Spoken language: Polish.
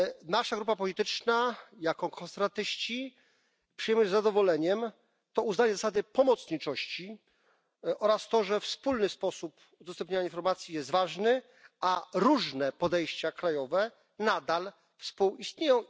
Nasza grupa polityczna, jako konserwatyści, z zadowoleniem przyjmuje uznanie zasady pomocniczości oraz fakt, że wspólny sposób udostępniania informacji jest ważny, a różne podejścia krajowe nadal współistnieją.